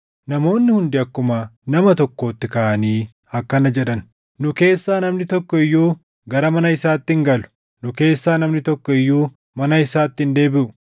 Namoonni hundi akkuma nama tokkootti kaʼanii akkana jedhan; “Nu keessaa namni tokko iyyuu gara mana isaatti hin galu. Nu keessaa namni tokko iyyuu mana isaatti hin deebiʼu.